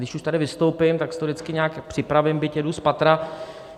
Když už tady vystoupím, tak si to vždycky nějak připravím, byť jedu spatra.